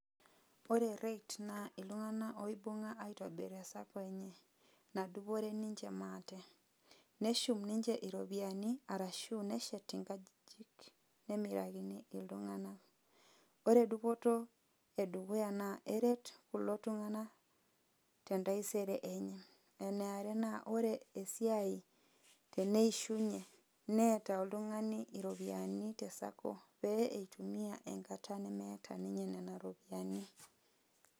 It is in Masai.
Ore REITs naa iltung'anak oibung'a aitobir e cycle enye. Nadupore ninche maate. Nishum ninche iropiyiani, arashu neshet inkajijik. Nemirakini iltung'anak. Ore dupoto edukuya naa, eret kulo tung'anak, tentaisere enye. Eniare naa, ore esiai eneishunye, neeta oltung'ani iropiyiani, te Sacco, pee itumia enkata nemeeta ninye nena ropiyaiani.